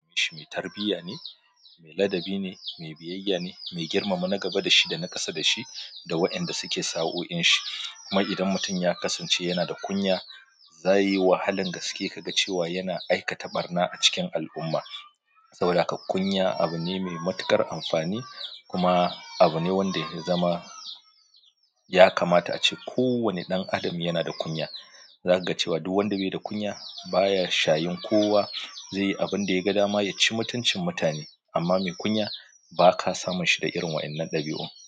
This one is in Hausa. Shi mai tarbiyya ne, mai ladabi ne, mai biyayya ne, mai girmama na gaba da shi da na ƙasa da shi da wa'inda suke sa'o inshi. Kuma idan mutum ya kasance yana da kunya, za yi wahalan gaske ka ga cewa yana aikata ɓarna a cikin al'umma. Saboda haka kunya abu ne mai matuƙar amfani kuma abu ne wanda ya zama ya kamata ace ko wanne ɗan adam yana da kunya. Zaka ga cewa duk wanda bai da kunya baya shayin kowa zai yi abin da ya ga dama ya ci mutuncin mutane. Amma mai kunya ba ka samun shi da irin wa'innan ɗabi'u.